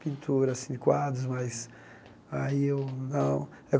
pintura assim de quadros mais aí eu não.